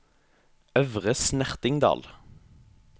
Øvre Snertingdal